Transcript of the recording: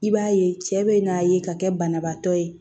I b'a ye cɛ bɛ n'a ye ka kɛ banabaatɔ ye